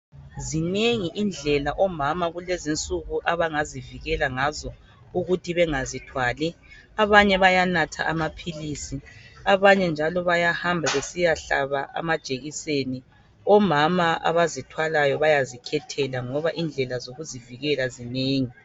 Zinengi indlela omama kulezi insuku abangazivikela ngazo ukuthi bengazithwali. Abanye bayanatha amaphilisi. Abanye njalo bayahamba besiyahlaba amajekiseni. Omama abazithwalayo bayazikhethela, ngoba indlela zokuzivikela zinengi.